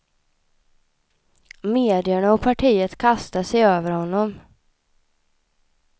Medierna och partiet kastade sig över honom.